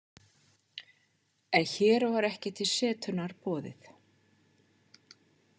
En hér var ekki til setunnar boðið.